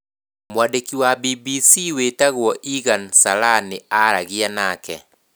Mwandĩki wa BBC wĩtagwo Eagan Salla nĩ aaragia nake.